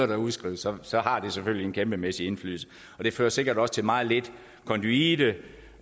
der udskrives så har det selvfølgelig en kæmpemæssig indflydelse og det fører sikkert også til meget lidt konduite